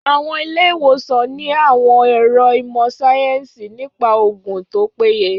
Àwọn ilé-ìwòsàn ní àwọn ẹ̀ro ìmọ̀ síáyẹ́nsì nípa oògùn tó péye